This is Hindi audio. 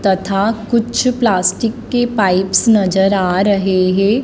तथा कुछ प्लास्टिक के पाइप्स नजर आ रहे हैं।